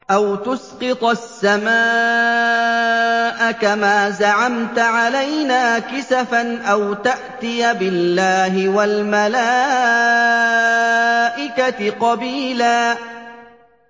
أَوْ تُسْقِطَ السَّمَاءَ كَمَا زَعَمْتَ عَلَيْنَا كِسَفًا أَوْ تَأْتِيَ بِاللَّهِ وَالْمَلَائِكَةِ قَبِيلًا